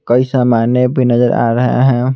कई सामाने भी नजर आ रहे हैं।